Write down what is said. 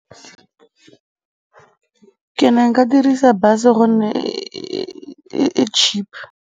Ke ne nka dirisa bus-e gonne e cheap.